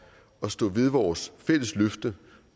at stå ved vores fælles løfte